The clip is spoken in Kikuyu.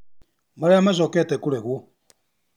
Marĩa macokete kũregwo